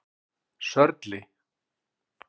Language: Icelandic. Sörli